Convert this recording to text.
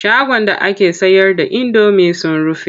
Shagon da ake sayar da indomi sun rufe.